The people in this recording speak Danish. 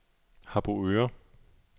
Harboøre